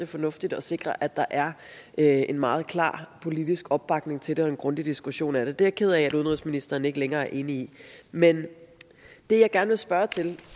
fornuftigt at sikre at der er en meget klar politisk opbakning til det og en grundig diskussion af det det er jeg ked af at udenrigsministeren ikke længere er enig i men det jeg gerne spørge til